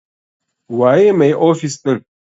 Waye mai ofis ɗin?